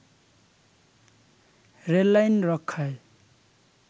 rail line রক্ষায়